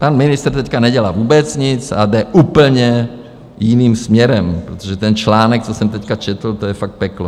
Pan ministr teď nedělá vůbec nic a jde úplně jiným směrem, protože ten článek, co jsem teď četl, to je fakt peklo.